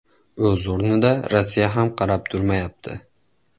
O‘z o‘rnida, Rossiya ham qarab turmayapti.